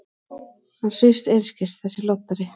Hann svífst einskis, þessi loddari!